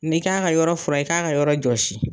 N bɛ k'a ka yɔrɔ fura i k'a ka yɔrɔ jɔsi.